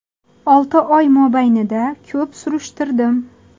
Olti oy mobaynida ko‘p surishtirdim.